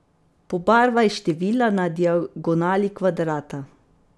Pobarvaj števila na diagonali kvadrata.